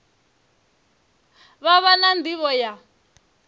vha vha na nḓivho ya